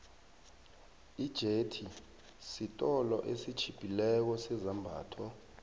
ijethi siolo esitjhiphileko sezambatho